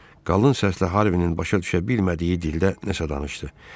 Qalın səslə Harvinin başa düşə bilmədiyi dildə nəsə danışdı.